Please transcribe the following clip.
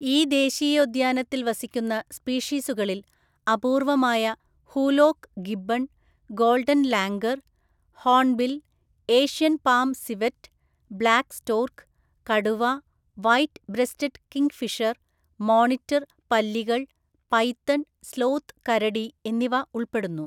ഈ ദേശീയോദ്യാനത്തിൽ വസിക്കുന്ന സ്പീഷീസുകളിൽ അപൂർവ്വമായ hoolock gibbon, golden langur, hornbill, asian palm civet, black stork, കടുവ, വൈറ്റ് ബ്രെസ്റ്റഡ് കിംഗ്ഫിഷർ, മോണിറ്റർ പല്ലികൾ, പൈത്തൺ, സ്ലോത്ത് കരടി എന്നിവ ഉൾപ്പെടുന്നു.